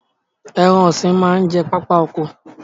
Ẹran ọ̀sìn máa ń jẹ pápá oko